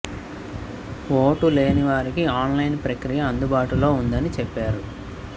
vote లేని వారికి online ప్రక్రియ అందుబాటులో ఉందని చెప్పారు